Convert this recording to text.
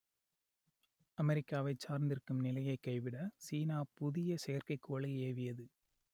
அமெரிக்காவைச் சார்ந்திருக்கும் நிலையை கைவிட சீனா புதிய செயற்கைக்கோளை ஏவியது